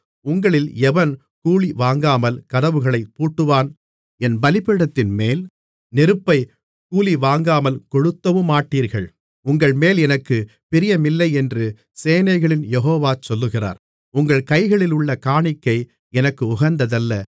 உங்களில் எவன் கூலிவாங்காமல் கதவுகளைப் பூட்டுவான் என் பலிபீடத்தின்மேல் நெருப்பைக் கூலிவாங்காமல் கொளுத்தவுமாட்டீர்கள் உங்கள்மேல் எனக்குப் பிரியமில்லையென்று சேனைகளின் யெகோவா சொல்லுகிறார் உங்கள் கைகளிலுள்ள காணிக்கை எனக்கு உகந்ததல்ல